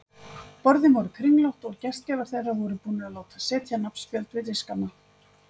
Borðin voru kringlótt og gestgjafar þeirra voru búnir að láta setja nafnspjöld við diskana.